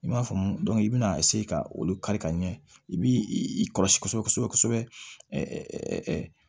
I m'a faamu i bɛna ka olu kari ka ɲɛ i bi i kɔlɔsi kosɛbɛ kosɛbɛ